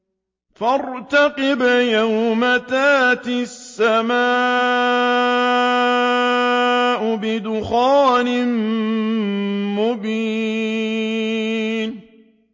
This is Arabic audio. فَارْتَقِبْ يَوْمَ تَأْتِي السَّمَاءُ بِدُخَانٍ مُّبِينٍ